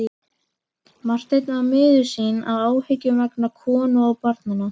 Marteinn var miður sín af áhyggjum vegna konu og barna.